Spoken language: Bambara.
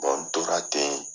n tora ten